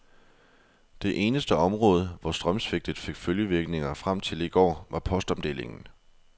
Det eneste område, hvor strømsvigtet fik følgevirkninger frem til i går, var postomdelingen.